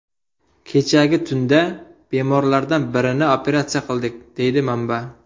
Kechagi tunda bemorlardan birini operatsiya qildik”, deydi manba.